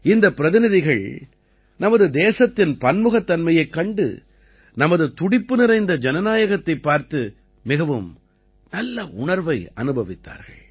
இந்தப் பிரதிநிதிகள் நமது தேசத்தின் பன்முகத்தன்மையைக் கண்டு நமது துடிப்பு நிறைந்த ஜனநாயகத்தைப் பார்த்து மிகவும் நல்ல உணர்வை அனுபவித்தார்கள்